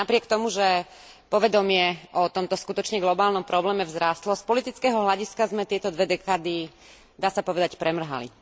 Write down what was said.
Napriek tomu, že povedomie o tomto skutočne globálnom probléme vzrástlo, z politického hľadiska sme tieto dve dekády, dá sa povedať, premrhali.